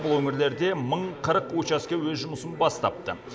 бұл өңірлерде мың қырық учаске өз жұмысын бастапты